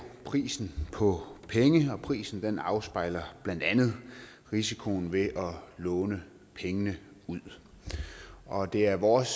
prisen på at og prisen afspejler blandt andet risikoen ved at låne pengene ud og det er vores